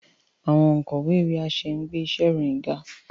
Awọn onkọwe iwe-aṣẹ ngbe iṣe iroyin ga.